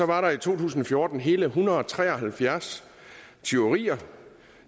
var der i to tusind og fjorten hele en hundrede og tre og halvfjerds tyverier